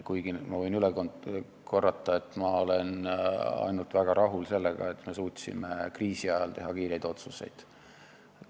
Kuigi ma olen – võin üle korrata – väga rahul sellega, et me suutsime kriisi ajal teha kiireid otsuseid.